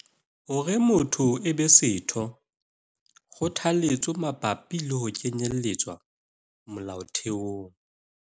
Hore motho e be setho - kgothaletso mabapi le ho kenyelletswa molaotheong